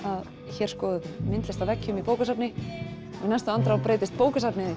hér skoðum við myndlist á veggjum í bókasafni og í næstu andrá breytist bókasafnið í